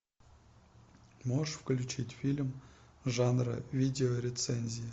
можешь включить фильм жанра видеорецензии